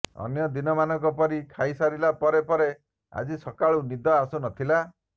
ଅନ୍ୟଦିନମାନଙ୍କ ପରି ଖାଇ ସାରିଲା ପରେ ପରେ ଆଜି ତାକୁ ନିଦ ଆସୁ ନଥିଲା